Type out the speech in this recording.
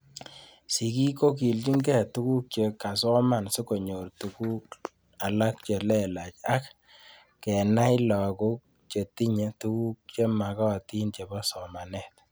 Suigik ko kilchinikei tuguk che kasoman sikonyor tuguk alak che lelach ak kenai lakok chetinye tuguk chemakatin chepo somanet